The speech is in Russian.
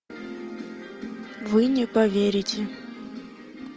вы не поверите